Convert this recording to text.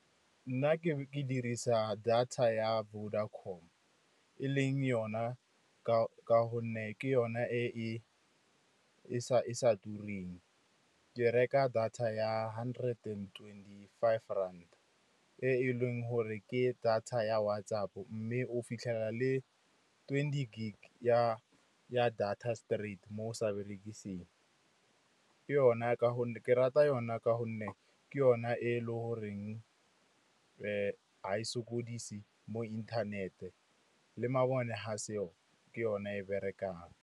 Nna ke dirisa data ya Vodacom e leng yona ka gonne ke yona e sa tureng. Ke reka data ya hundred twenty-five rand e leng gore ke data ya WhatsApp, mme o fitlhela le twenty gig ya data straight mo o sa berekiseng. Ke rata yona ka gonne ke yona e le goreng ga e sokodise mo inthanete le mabone ga seyo ke yona e berekang.